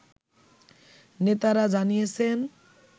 নেতারা জানিয়েছেন